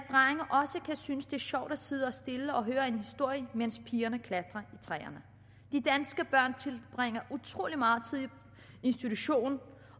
synes det er sjovt at sidde stille og høre en historie mens pigerne klatrer i træer de danske børn tilbringer utrolig meget tid i institutionen